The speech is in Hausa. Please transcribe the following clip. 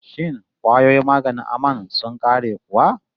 Shin kwayoyin maganin aman sun ƙare kuwa?